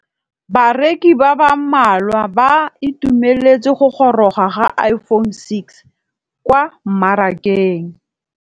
Bareki ba ba malwa ba ituemeletse go gôrôga ga Iphone6 kwa mmarakeng.